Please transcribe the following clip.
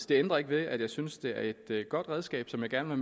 det ændrer ikke ved at jeg synes at det er et godt redskab som jeg gerne